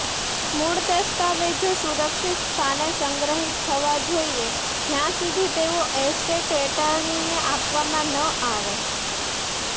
મૂળ દસ્તાવેજો સુરક્ષિત સ્થાને સંગ્રહિત થવા જોઈએ જ્યાં સુધી તેઓ એસ્ટેટ એટર્નીને આપવામાં ન આવે